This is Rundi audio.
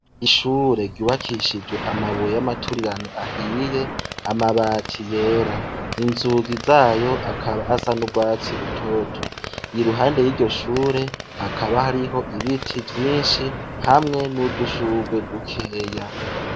ishure ryubakishijwe amabuye y'amaturirano ahiye amabati yera inzugi zayo akaba asa n'ugwatsi rutoto iruhande y'iryoshure hakaba hariho ibiti vyinshi hamwe n'udushugwe dukeya.